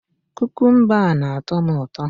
Kukumba a na-atọ m ụtọ